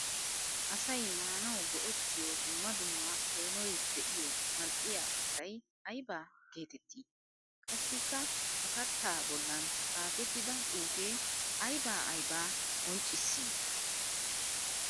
Asay maanawu go'ettiyo dumma dumma peenoy de'iyo mal'iya kattay aybba geetetti? Qassikka ha katta bollan xaafettidda xuufe aybba aybba qonccissi?